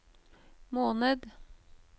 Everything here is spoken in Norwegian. måned